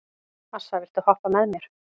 Assa, viltu hoppa með mér?